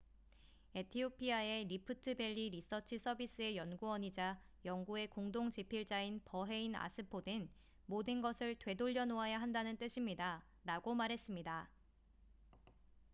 "에티오피아의 리프트 밸리 리서치 서비스의 연구원이자 연구의 공동 집필자인 버헤인 아스포는 "모든 것을 되돌려 놓아야 한다는 뜻입니다""라고 말했습니다.